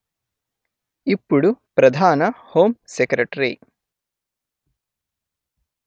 ఇప్పుడు ప్రధాన home secretary